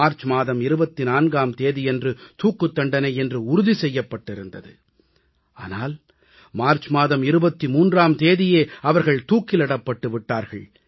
March மாதம் 24ஆம் தேதியன்று தூக்குத் தண்டனை என்று உறுதி செய்யப்பட்டிருந்தது ஆனால் மார்ச் மாதம் 23ஆம் தேதியே அவர்கள் தூக்கிலிடப்பட்டு விட்டார்கள்